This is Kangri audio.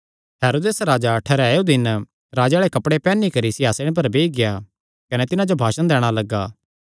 हेरोदेस राजा ठैहरायो दिन राजे आल़े कपड़े पैहनी करी सिंहासणे पर बेई गेआ कने तिन्हां जो भाषण दैणा लग्गा